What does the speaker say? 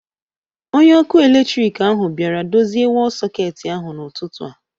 Onye ọkụ eletrik ahụ bịara dozie wọl sọketi ahụ n'ụtụtụ a